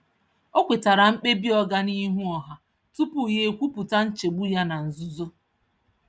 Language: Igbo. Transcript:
Ọ kwetara mkpebi oga n’ihu ọha tupu ya ekwupụta nchegbu ya na nzuzo.